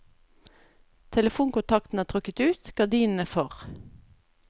Telefonkontakten er trukket ut, gardinene for.